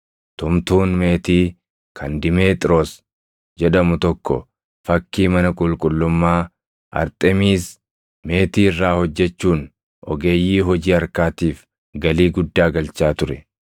Tumtuun meetii kan Dimeexiroos jedhamu tokko fakkii mana qulqullummaa Arxemiisi + 19:24 Arxemiisi – waaqittii tolfamtuu dhaltii; manni qulqullummaa ishee dinqiiwwan torban addunyaa durii keessaa tokko ture. meetii irraa hojjechuun ogeeyyii hojii harkaatiif galii guddaa galchaa ture.